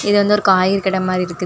இது வந்து ஒரு காய்கறி கட மாரி இருக்குது.